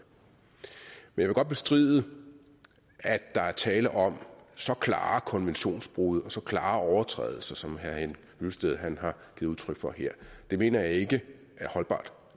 men jeg vil godt bestride at der er tale om så klare konventionsbrud og så klare overtrædelser som herre henning hyllested gav udtryk for her det mener jeg ikke er holdbart